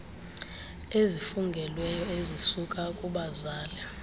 ezifungelweyo ezisuka kubazali